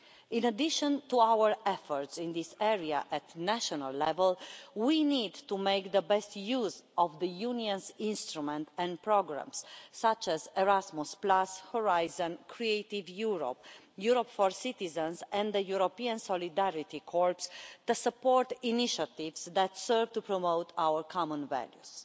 In addition to our efforts in this area at national level, we need to make the best use of the Union's instruments and programmes, such as Erasmus, Horizon, Creative Europe, Europe for Citizens and the European Solidarity Corps, the support initiatives that serve to promote our common values.